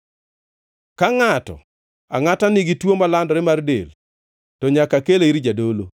Ka ngʼato angʼata nigi tuo malandore mar del, to nyaka kele ir jadolo.